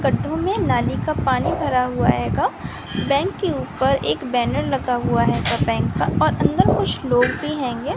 गड्ढों में नाली का पानी भरा हुआ हैगा बैंक के ऊपर एक बैनर लगा हुआ हैगा बैंक का और अंदर कुछ लोग भी हैंगे।